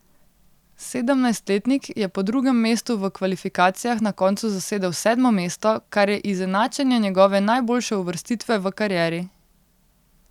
Sedemnajstletnik je po drugem mestu v kvalifikacijah na koncu zasedel sedmo mesto, kar je izenačenje njegove najboljše uvrstitve v karieri.